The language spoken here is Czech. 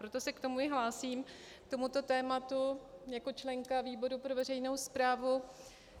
Proto se k tomu i hlásím, k tomuto tématu, jako členka výboru pro veřejnou správu.